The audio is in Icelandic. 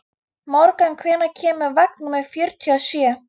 Morgan, hvenær kemur vagn númer fjörutíu og sjö?